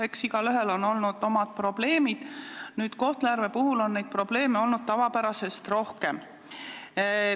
Eks igaühel on olnud omad probleemid, nüüd Kohtla-Järve puhul on probleeme aga tavapärasest rohkem.